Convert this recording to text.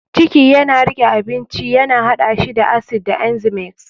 ciki yana riƙe abincin ya haɗa shi da acid da enzymes.